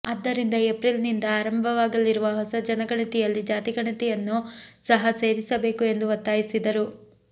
ಆದ್ದರಿಂದ ಏಪ್ರಿಲ್ನಿಂದ ಆರಂಭವಾಗಲಿರುವ ಹೊಸ ಜನಗಣತಿಯಲ್ಲಿ ಜಾತಿ ಗಣತಿಯನ್ನು ಸಹ ಸೇರಿಸಬೇಕು ಎಂದು ಒತ್ತಾಯಿಸಿದರು